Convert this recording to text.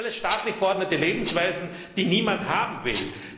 Das alles sind staatlich verordnete Lebensweisen, die niemand haben will.